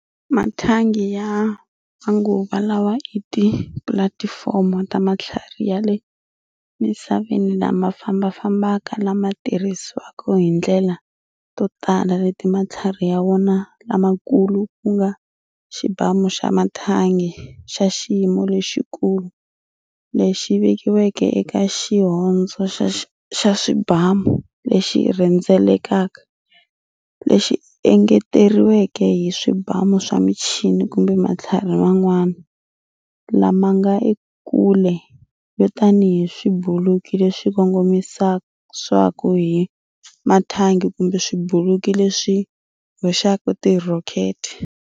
Mathangi ya manguva lawa i tipulatifomo ta matlhari ya le misaveni lama fambafambaka lama tirhisiwaka hi ndlela to tala leti matlhari ya wona lamakulu ku nga xibamu xa mathangi xa xiyimo lexikulu lexi vekiweke eka xihondzo xa swibamu lexi rhendzelekaka, lexi engeteriweke hi swibamu swa michini kumbe matlhari man'wana lama nga ekule yo tanihi swibuluki leswi kongomisiwaka hi mathangi kumbe swibuluki leswi hoxaka tirhokete.